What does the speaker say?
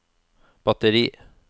batteri